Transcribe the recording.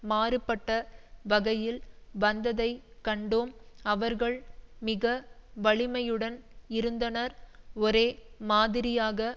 மாறுபட்ட வகையில் வந்ததை கண்டோம் அவர்கள் மிக வலிமையுடன் இருந்தனர் ஒரே மாதிரியாக